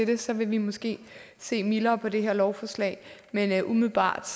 det så vil vi måske se mildere på det her lovforslag men umiddelbart